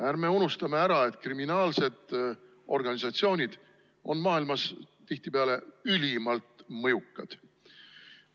Ärme unustame ära, et kriminaalsed organisatsioonid on maailmas tihtipeale ülimalt mõjukad.